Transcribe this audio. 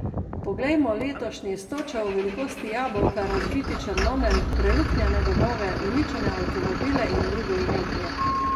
Poglejmo letošnji s točo v velikosti jabolka razbiti Črnomelj, preluknjane domove, uničene avtomobile in drugo imetje ...